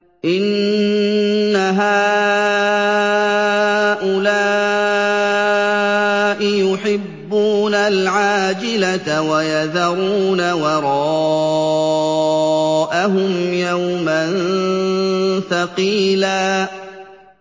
إِنَّ هَٰؤُلَاءِ يُحِبُّونَ الْعَاجِلَةَ وَيَذَرُونَ وَرَاءَهُمْ يَوْمًا ثَقِيلًا